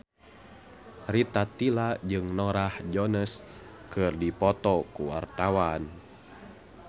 Rita Tila jeung Norah Jones keur dipoto ku wartawan